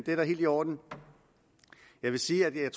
er da helt i orden jeg vil sige at jeg